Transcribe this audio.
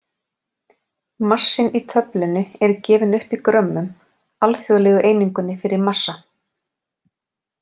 Massinn í töflunni er gefinn upp í grömmum, alþjóðlegu einingunni fyrir massa.